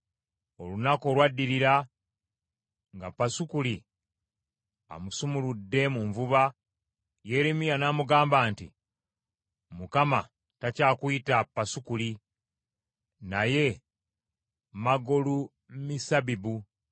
Olunaku olwaddirira, nga Pasukuli amusumuludde mu nvuba, Yeremiya n’amugamba nti, “ Mukama takyakuyita Pasukuli, naye Magolumissabibu.